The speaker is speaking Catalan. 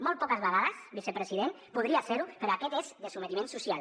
molt poques vegades vicepresident podria ser ho però aquest és de sotmetiment social